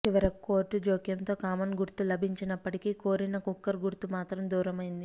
చివరకు కోర్టు జోక్యంతో కామన్ గుర్తు లభించినప్పటికీ కోరిన కుక్కర్ గుర్తు మాత్రం దూరమైంది